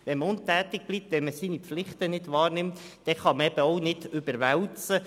Wenn man untätig bleibt und seine Pflichten nicht wahrnimmt, kann man Kosten auch nicht überwälzen.